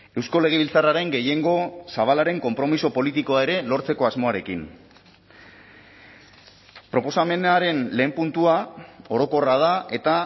eusko legebiltzarraren gehiengo zabalaren konpromiso politikoa ere lortzeko asmoarekin proposamenaren lehen puntua orokorra da eta